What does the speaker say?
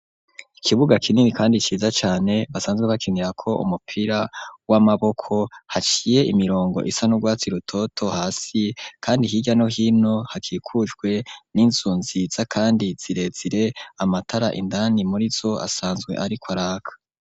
Ikibuga kinini kandi ciza cane basanzwe bakinirako umupira w'amaboko haciye imirongo isa n'urwatsi rutoto hasi kandi hirya no hino hakikujwe n'inzu nziza kandi zirezire amatara indani murizo asanzwe ariko araka.